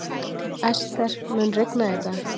Ester, mun rigna í dag?